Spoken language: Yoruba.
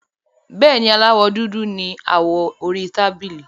Bẹ́ẹ̀ni, Aláwọ́ dúdú ni awọ orí tábìlì.